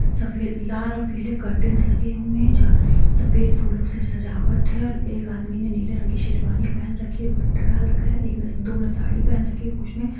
सफेद लाल और पीले करटैन्स लगे हुए हैं जहाँ सफेद फूलों से सजावट है| एक आदमी ने नीले रंग की शेरवानी पहन रखी है और दुपट्टा डाल रखा है| एक ने दो ने साड़ी पहेन रखी कुछ ने --